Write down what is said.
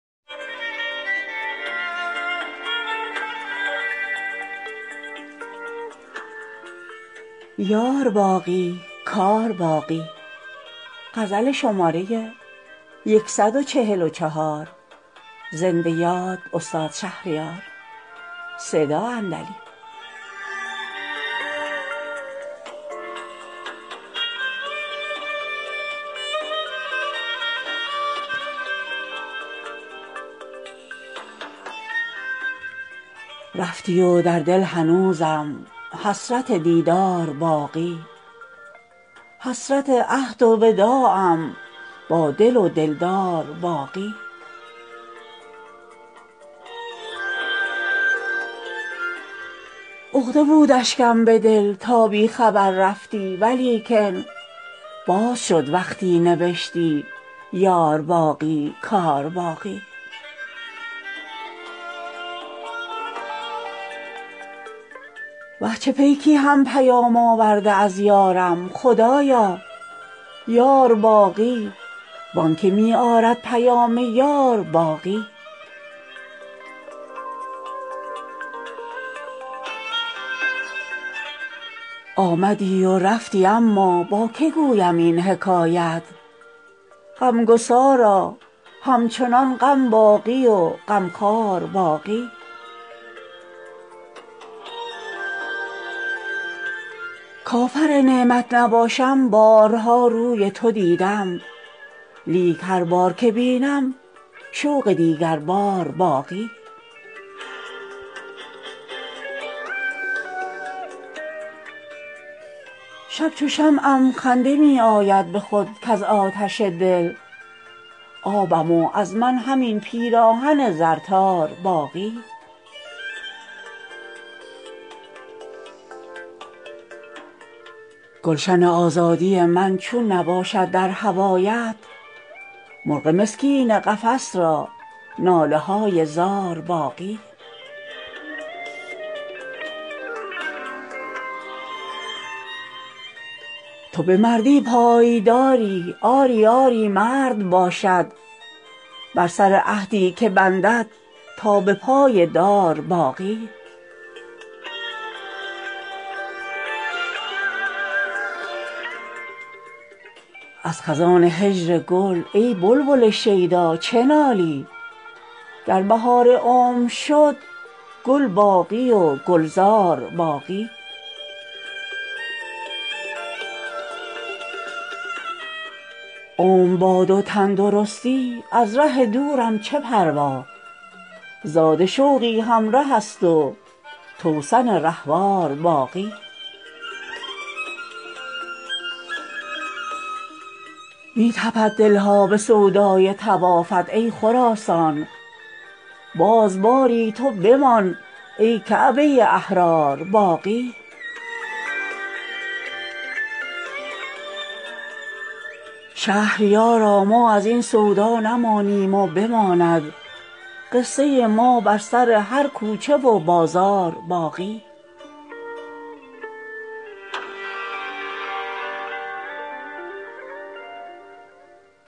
رفتی و در دل هنوزم حسرت دیدار باقی حسرت عهد و وداعم با دل و دلدار باقی عقده بود اشکم به دل تا بی خبر رفتی ولیکن باز شد وقتی نوشتی یار باقی کار باقی وه چه پیکی هم پیام آورده از یارم خدایا یار باقی وآنکه می آرد پیام یار باقی آمدی و رفتی اما با که گویم این حکایت غمگسارا همچنان غم باقی و غمخوار باقی کافر نعمت نباشم بارها روی تو دیدم لیک هر بارت که بینم شوق دیگربار باقی شب چو شمعم خنده می آید به خود کز آتش دل آبم و از من همین پیراهن زر تار باقی گلشن آزادی من چون نباشد در هوایت مرغ مسکین قفس را ناله های زار باقی تو به مردی پایداری آری آری مرد باشد بر سر عهدی که بندد تا به پای دار باقی از خزان هجر گل ای بلبل شیدا چه نالی گر بهار عمر شد گل باقی و گلزار باقی عمر باد و تندرستی از ره دورم چه پروا زاد شوقی همره است و توسن رهوار باقی می تپد دل ها به سودای طوافت ای خراسان باز باری تو بمان ای کعبه احرار باقی شهریارا ما از این سودا نمانیم و بماند قصه ما بر سر هر کوچه و بازار باقی